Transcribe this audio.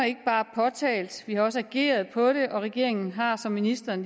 ikke bare påtalt vi har også reageret på det og regeringen har som ministeren